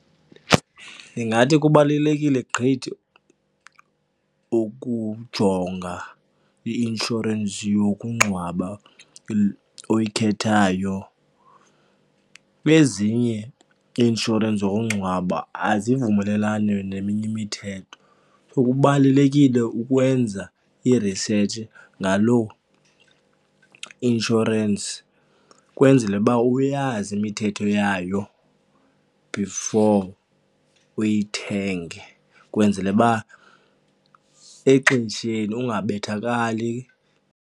Ndingathi kubalulekile gqithi ukujonga i-inshorensi yokungcwaba oyikhethayo. Ezinye ii-inshorensi zokungcwaba azivumelelani neminye imithetho so kubalulekile ukwenza i-research ngaloo insurance ukwenzele uba uyazi imithetho yayo before uyithenge ukwenzele uba exesheni ungabethakali.